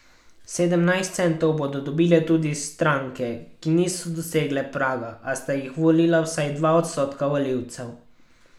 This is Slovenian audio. Sedemnajst centov bodo dobile tudi stranke, ki niso dosegle praga, a sta jih volila vsaj dva odstotka volivcev.